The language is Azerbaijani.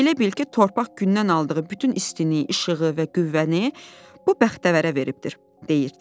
Elə bil ki, torpaq gündən aldığı bütün istini, işığı və qüvvəni bu bəxtəvərə veribdir, deyirdi.